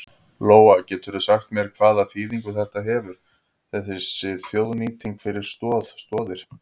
Lóa: Geturðu sagt mér hvaða þýðingu þetta hefur þessi þjóðnýting fyrir Stoð Stoðir?